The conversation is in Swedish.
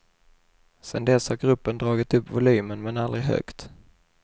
Sen dess har gruppen dragit upp volymen, men aldrig högt.